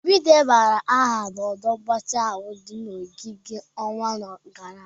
Obi debara aha na ọdụ mgbatị ahụ di na ogige n'ọnwa gara aga.